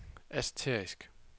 asterisk